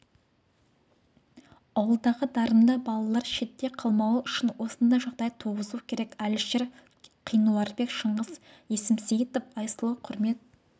ауылдағы дарынды балалар шетте қалмауы үшін осындай жағдай туғызу керек әлішер қинуарбек шыңғыс есімсейітов айсұлу құрмет